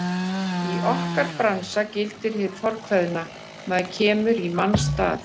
Í okkar bransa gildir hið fornkveðna: Maður kemur í manns stað.